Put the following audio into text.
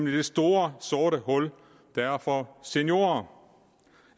er det store sorte hul der er for seniorer